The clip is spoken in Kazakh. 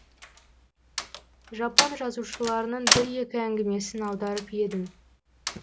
жапон жазушыларының бір екі әңгімесін аударып едім